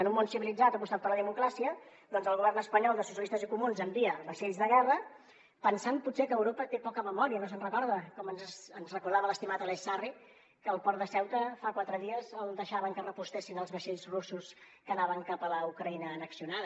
en un món civilitzat que ha apostat per la democràcia doncs el govern espanyol de socialistes i comuns envia vaixells de guerra pensant potser que europa té poca memòria no se’n recorda com ens recordava l’estimat aleix sarri que al port de ceuta fa quatre dies deixaven que es proveïssin els vaixells russos que anaven cap a la ucraïna annexionada